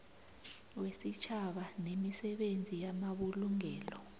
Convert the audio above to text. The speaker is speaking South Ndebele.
wesitjhaba nemisebenzi yamabulungelo